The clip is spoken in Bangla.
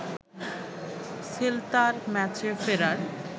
সেল্তার ম্যাচে ফেরার